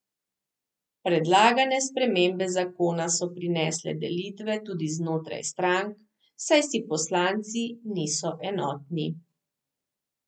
Predlagane spremembe zakona so prinesle delitve tudi znotraj strank, saj si poslanci niso enotni.